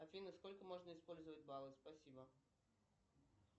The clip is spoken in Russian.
афина сколько можно использовать баллов спасибо